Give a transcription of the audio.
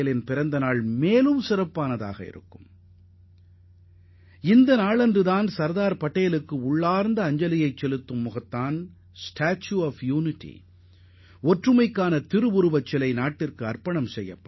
அன்றைய தினம் நாட்டின் ஒற்றுமை சிலையை நாம் அர்ப்பணிப்பதே சர்தார் பட்டேலுக்கு செலுத்தும் உண்மையான மரியாதையாக அமையும்